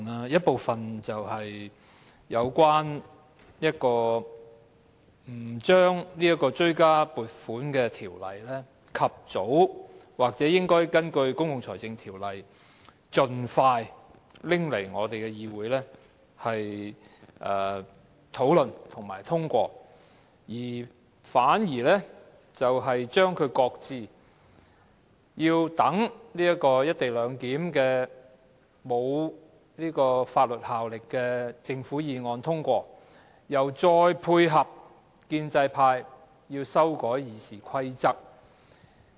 一部分是有關政府不將《追加撥款條例草案》及早根據《公共財政條例》盡快提交立法會討論和通過，反而將《條例草案》擱置，先讓政府就"一地兩檢"提出的無法律效力的議案通過，又再配合建制派修改《議事規則》。